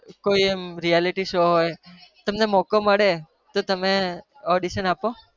કોઈ એમ reality show તમને મોકો મળે તો તમે audition આપો